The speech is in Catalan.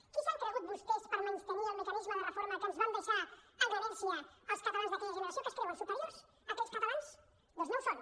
qui s’han cregut vostès per menystenir el mecanisme de reforma que ens van deixar en herència els catalans d’aquella generació que es creuen superiors a aquells catalans doncs no ho són